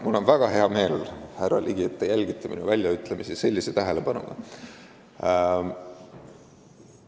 Mul on väga hea meel, härra Ligi, et te minu väljaütlemisi sellise tähelepanuga jälgite.